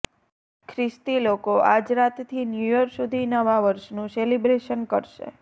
ખ્રિસ્તી લોકો આજરાતથી ન્યુયર સુધી નવા વર્ષનું સેલિબ્રેશન કરશે